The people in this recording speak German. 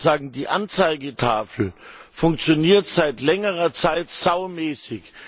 Ich wollte nur sagen, die Anzeigetafel funktioniert seit längerer Zeit saumäßig.